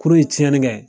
Kurun ye cɛnni kɛ